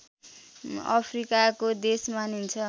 अफ्रिकाको देश मानिन्छ